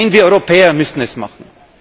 Nein, wir Europäer müssen es